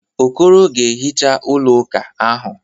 Okoro ga-ehicha ụlọ ụka ahụ.